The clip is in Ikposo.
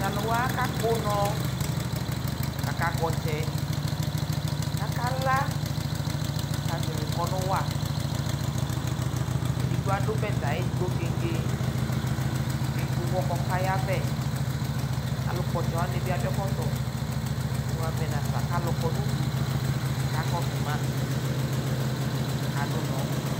Tʋ alʋ wa akakpɔ ʋnɔ kʋ akakpɔ ɔtsɛ kʋ akala kʋ akazɛvɩ ʋkɔnʋ wa Edigbo adʋ bɛtɛ ayɩdigbo keŋge kʋ ekple ʋɣɔ kʋ ɔkayavɛ Alʋkpɔ ɔtsɛ wanɩ bɩ adʋ ɛkɔtɔ kʋ imu avɛ nafa kʋ alʋ kɔ nʋ udu kʋ akakɔsʋ ma, kʋ akadʋ ʋnɔ